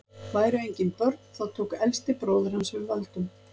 væru engin börn þá tók elsti bróðir hans við völdum